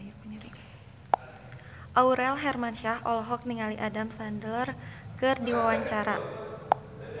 Aurel Hermansyah olohok ningali Adam Sandler keur diwawancara